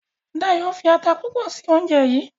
Dayo fí atá púpọ sí oúnjẹ yí.